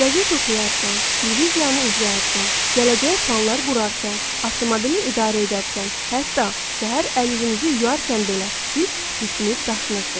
Qəzet oxuyarkən, televiziyanı izləyərkən, gələcəyə planlar qurarkən, avtomobili idarə edərkən, hətta səhər əl-üzünüzü yuyarkən belə, siz düşünüb daşınırsınız.